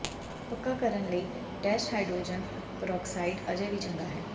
ਪੱਕਾ ਕਰਨ ਲਈ ਟੈਸਟ ਹਾਈਡਰੋਜਨ ਪਰੋਕਸਾਈਡ ਅਜੇ ਵੀ ਚੰਗਾ ਹੈ